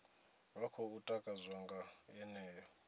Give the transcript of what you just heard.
vha khou takadzwa nga yeneyo